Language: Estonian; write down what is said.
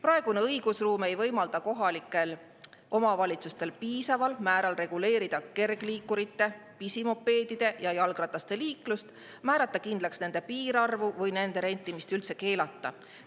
Praegune õigusruum ei võimalda kohalikel omavalitsustel piisaval määral reguleerida kergliikurite, pisimopeedide ja jalgrataste liiklust, määrata kindlaks nende piirarvu või nende rentimist üldse keelata.